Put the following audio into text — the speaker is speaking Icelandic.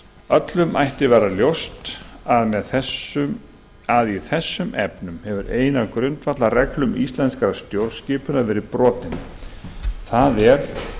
öllum ætti að vera ljóst að í þessum efnum hefur ein af grundvallarreglum íslenskrar stjórnskipunar verið brotin það er